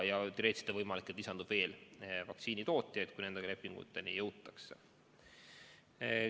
Teoreetiliselt on võimalik, et lisandub veel vaktsiinitootjaid, kui nende lepinguteni jõutakse.